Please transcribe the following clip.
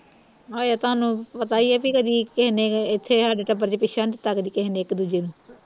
ਹਜੇ ਤੁਹਾਨੂੰ ਪਤਾ ਈ ਆ ਬਈ ਕਦੀ ਕਿਹੇ ਨੇ ਇਥੇ ਹਾਡੇ ਟੱਬਰ ਵਿਚ ਪਿੱਛਾ ਨੀ ਦਿੱਤਾ ਕਦੀ ਕਿਹੇ ਨੇ ਇਕ ਦੂਜੇ ਨੂੰ